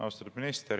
Austatud minister!